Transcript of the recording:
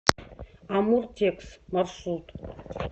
амуртекс маршрут